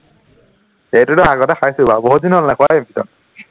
সেইটোতো আগতে খাইছো বাৰু, বহুত দিন হল নোখোৱা কিন্তু